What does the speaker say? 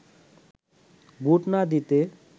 vote না দিতে